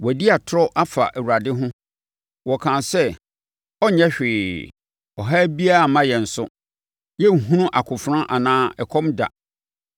Wɔadi atorɔ afa Awurade ho, wɔkaa sɛ, “Ɔrenyɛ hwee! Ɔhaw biara remma yɛn so; yɛrenhunu akofena anaa ɛkɔm da.